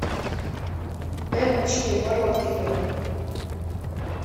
эммочке бородкиной